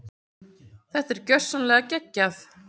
Þetta var gjörsamlega geggjað.